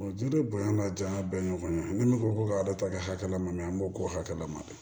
Juru bonya ka janya bɛn kɔnɔ ni minnu ko ko ka ala ta kɛ hakɛla ma an b'o k'o hakɛ la ma dɛ